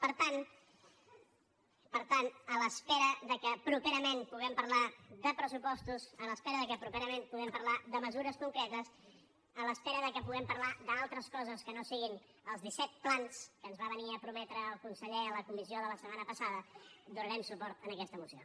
per tant a l’espera que properament puguem parlar de pressupostos a l’espera que properament puguem parlar de mesures concretes a l’espera que puguem parlar d’altres coses que no siguin els disset plans que ens va venir a prometre el conseller a la comissió de la setmana passada donarem suport a aquesta moció